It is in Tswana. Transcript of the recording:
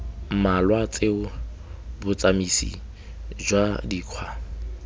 mmalwa tseo botsamisi jwa dikgwa